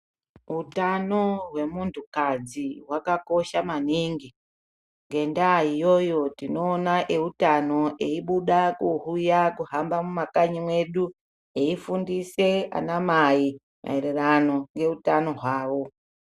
hutano hwemuntu kadzi wakakosha maningi ngenda iyoyo tinoona eienda kuuya kuhamba mumakanyi medu eifundise ana mai mayererano neutano hwavo .